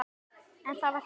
En það var þá.